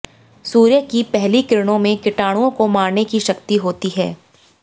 सूर्य की पहली किरणों में कीटाणुओं को मारने की शक्ति होती है